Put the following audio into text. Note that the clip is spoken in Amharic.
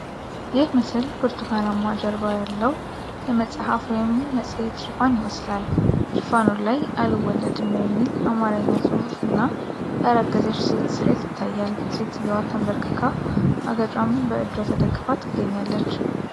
ይህ ምስል ብርቱካናማ ጀርባ ያለው የመጽሐፍ ወይም መጽሔት ሽፋን ይመስላል። ሽፋኑ ላይ "አልወለድም" የሚል የአማርኛ ጽሑፍ እና ያረገዘች ሴት ስዕል ይታያል፤ ሴትየዋ ተንበርክካና አገጯን በእጇ ተደግፋ ትገኛለች።